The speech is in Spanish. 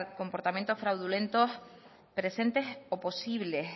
comportamientos fraudulentos presentes o posibles